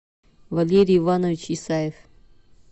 валерий иванович исаев